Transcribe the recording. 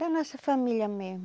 Da nossa família mesmo.